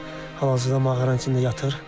Hal-hazırda mağaranın içində yatır.